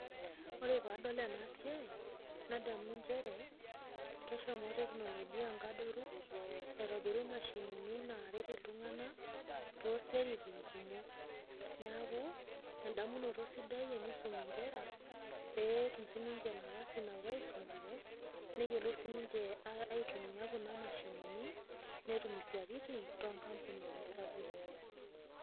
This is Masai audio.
Ore paadol ena siai, nadamu nchere keshomo teknolojia inkadoru aitobiru imashinini naaret iltung'ana toosiaitin kumok, neaku endamunoto sidai teneisom inkera petum sininche nafasi nawoaisomare neyolou sininche aitumia kuna mashinini, netum isaitin tokampunini sapuki.